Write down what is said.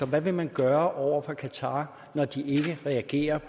hvad vil man gøre over for qatar når de ikke reagerer